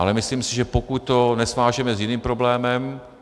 Ale myslím si, že pokud to nesvážeme s jiným problémem...